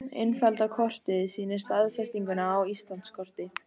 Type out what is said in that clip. Innfellda kortið sýnir staðsetninguna á Íslandskorti.